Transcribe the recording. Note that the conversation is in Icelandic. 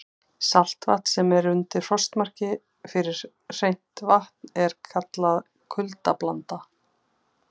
Saltvatn sem er undir frostmarki fyrir hreint vatn er kallað kuldablanda.